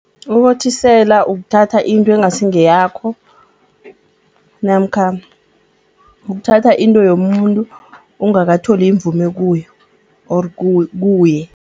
Ukothisela ukuthatha into engasi ngeyakho namkha ukuthatha into yomuntu ungakatholi imvume kuyo or kuye.